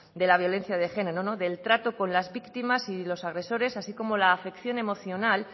de la violencia de género del trato con las víctimas y con los agresores así como la afección emocional